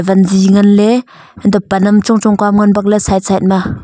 panzi ngan ley antoh pan am chong chong ke ngan bak le side side ma.